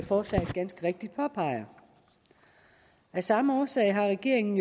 forslaget ganske rigtigt påpeger af samme årsag har regeringen